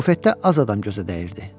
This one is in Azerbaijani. Bufetdə az adam gözə dəyirdi.